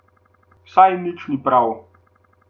Saj nič ni prav.